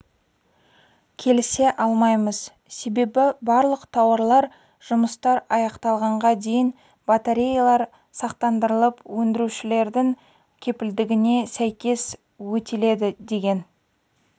келісе алмаймыз себебі барлық тауарлар жұмыстар аяқталғанға дейін батареялар сақтандырылып өндірушілердің кепілдігіне сәйкес өтеледі деген